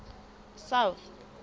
south